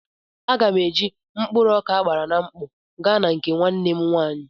Aga m eji mkpụrụ ọka agbara na mkpọ gaa na nke nwanne m nwaanyị.